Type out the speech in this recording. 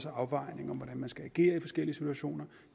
afvejninger af hvordan man skal agere i forskellige situationer